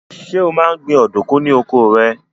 Ṣé o máa ń gbin ọ̀dùnkún ní oko rẹ?